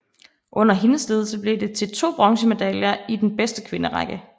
Under hendes ledelse blev det til 2 bronzemedaljer i den bedste kvinderække